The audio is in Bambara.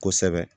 Kosɛbɛ